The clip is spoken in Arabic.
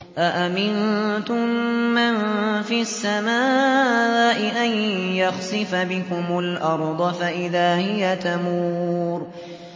أَأَمِنتُم مَّن فِي السَّمَاءِ أَن يَخْسِفَ بِكُمُ الْأَرْضَ فَإِذَا هِيَ تَمُورُ